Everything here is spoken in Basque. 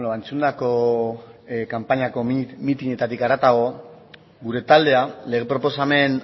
entzundako kanpainako mitinetatik haratago gure taldea lege proposamen